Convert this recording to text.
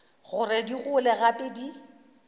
gore di gole gape di